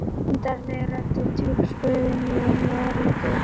Undarleg rödd og djúp spurði mig um erindið.